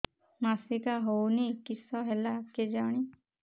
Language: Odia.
ମାସିକା ହଉନି କିଶ ହେଲା କେଜାଣି